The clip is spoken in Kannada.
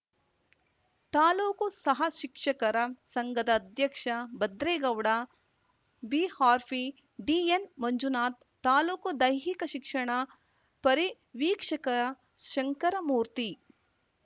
ತಾಲೂಕು ಸಹಶಿಕ್ಷಕರ ಸಂಘದ ಅಧ್ಯಕ್ಷ ಭದ್ರೇಗೌಡ ಬಿಆರ್‌ಪಿ ಡಿಎನ್‌ ಮಂಜುನಾಥ್‌ ತಾಲೂಕು ದೈಹಿಕ ಶಿಕ್ಷಣ ಪರಿವೀಕ್ಷಕ ಶಂಕರಮೂರ್ತಿ